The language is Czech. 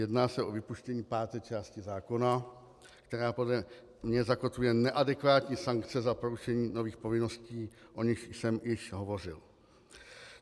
Jedná se o vypuštění páté části zákona, která podle mě zakotvuje neadekvátní sankce za porušení nových povinností, o nichž jsem již hovořil.